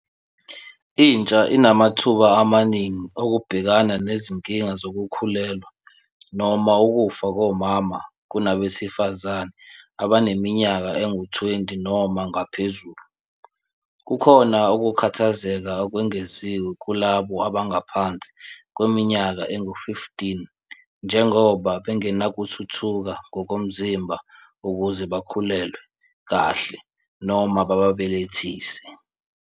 Intsha inamathuba amaningi okubhekana nezinkinga zokukhulelwa noma ukufa komama kunabesifazane abaneminyaka engu-20 noma ngaphezulu. Kukhona ukukhathazeka okwengeziwe kulabo abangaphansi kweminyaka engu-15 njengoba bengenakuthuthuka ngokomzimba ukuze bakhulelwe kahle noma babebelethise.